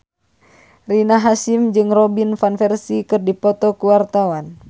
Rina Hasyim jeung Robin Van Persie keur dipoto ku wartawan